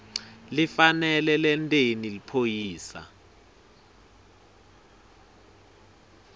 lifanele lenteni liphoyisa